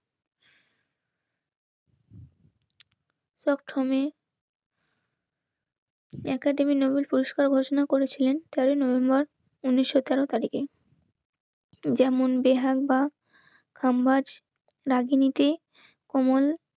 Dot through academy Nobel পুরস্কার ঘোষণা করেছিলেন. তেরোই নভেম্বর উনিশশো তেরো তারিখে. যেমন বেহাল বা হাম্বার নাগিনীতে অমন